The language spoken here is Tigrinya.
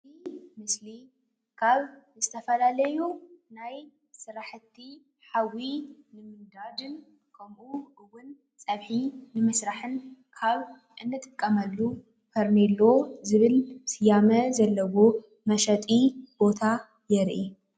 እዚ ምስሊ ካብ ዝተፈላለዩ ናይ ስራሕቲ ሓዊ ንምንዳድን ከምእውን ፀብሒ ንምስራሕን ካብ እንጥቀመሉ ፈርኔሎ ዝበል ስያሜ ዘለዎ መሸጢ ቦታ የርኢ።